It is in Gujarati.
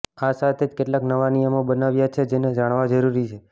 આ સાથે જ કેટલાક નવા નિયમો બનાવ્યા છે જેને જાણવા જરૂરી છે